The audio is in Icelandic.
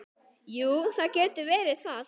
Jú, það getur verið það.